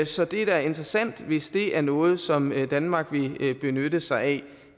så det er da interessant hvis det er noget som danmark vil benytte sig